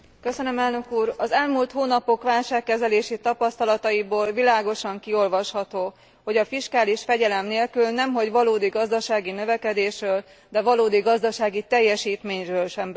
Az elmúlt hónapok válságkezelési tapasztalataiból világosan kiolvasható, hogy a fiskális fegyelem nélkül nemhogy valódi gazdasági növekedésről, de valódi gazdasági teljesítményről sem beszélhetünk.